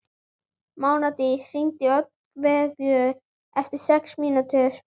Mánadís, hringdu í Oddveigu eftir sex mínútur.